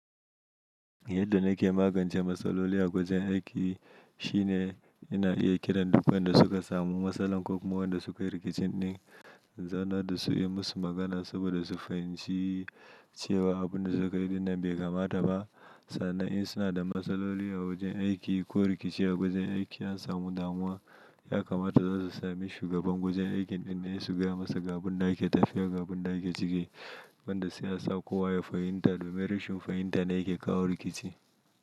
Yadda nake magance matsaloli a gwajin aiki shine ina iya kiran duk wanda suka samu matsalar koma wayanda da sukayi rikici din, zauna da su yi musu magana saboda su fahimci cewa abin da suka yi dinnan bai kamata ba. Sannan in suna da matsaloli a wajen aiki ko rikici a wajen aiki an samu damuwa, ya kamata za su sami shugaban wajen aikin din ne su gaya masa gaɓin da ake tafiya ga abin da ake ciki. Wanda sai a sa kowa ya fahimta domin rashin fahimta ne yake kawo rikici.